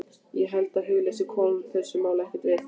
Ég held að hugleysi komi þessu máli ekkert við.